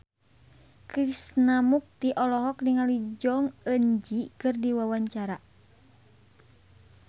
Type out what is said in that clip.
Krishna Mukti olohok ningali Jong Eun Ji keur diwawancara